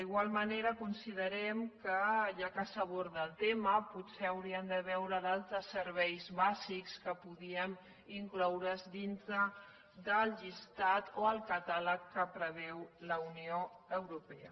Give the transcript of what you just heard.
igualment considerem que ja que s’aborda el tema potser hauríem de veure d’altres serveis bàsics que podrien incloure’s dintre de la llista o el catàleg que preveu la unió europea